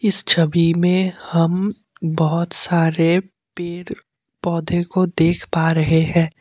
इस छवि में हम बहुत सारे पेड़ पौधे को देख पा रहे हैं।